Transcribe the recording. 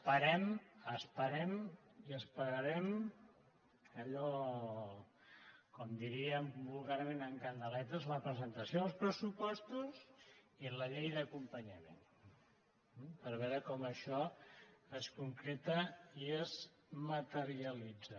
bé esperem i esperarem allò com diríem vulgarment amb candeletes la presentació dels pressupostos i la llei d’acompanyament per veure com això es concreta i es materialitza